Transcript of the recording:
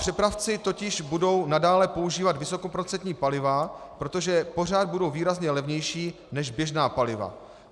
Přepravci totiž budou nadále používat vysokoprocentní paliva, protože pořád budou výrazně levnější než běžná paliva.